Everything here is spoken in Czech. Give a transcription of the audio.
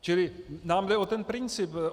Čili nám jde o ten princip.